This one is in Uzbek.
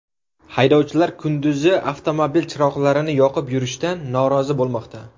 Haydovchilar kunduzi avtomobil chiroqlarini yoqib yurishdan norozi bo‘lmoqda .